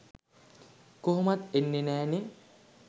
කොහොමත් එන්නෙ නැ නෙ